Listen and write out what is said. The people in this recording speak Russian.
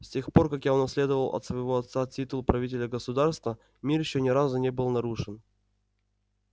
с тех пор как я унаследовал от своего отца титул правителя государства мир ещё ни разу не был нарушен